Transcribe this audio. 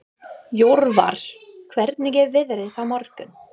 Jörvar, hvernig er veðrið á morgun?